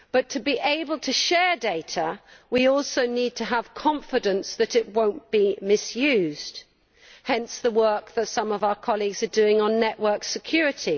To be able to share data, we also need to have confidence that they will not be misused, hence the work that some of our colleagues are doing on network security.